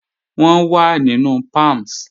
Wọ́n wà nínú Palms